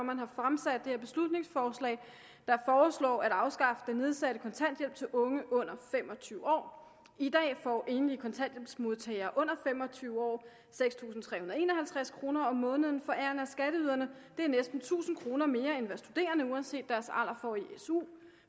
man har fremsat det her beslutningsforslag der foreslår at afskaffe den nedsatte kontanthjælp til unge under fem og tyve år i dag får enlige kontanthjælpsmodtagere under fem og tyve år seks tusind tre hundrede og en og halvtreds kroner om måneden forærende af skatteyderne det er næsten tusind kroner mere end hvad studerende uanset deres alder får i su